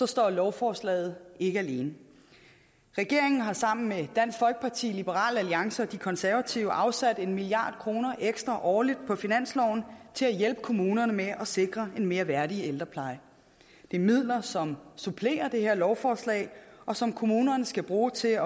står lovforslaget ikke alene regeringen har sammen med dansk folkeparti liberal alliance og de konservative afsat en milliard kroner ekstra årligt på finansloven til at hjælpe kommunerne med at sikre en mere værdig ældrepleje det er midler som supplerer det her lovforslag og som kommunerne skal bruge til at